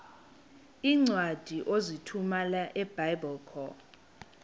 iincwadi ozithumela ebiblecor